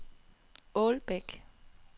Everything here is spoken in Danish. Ålbæk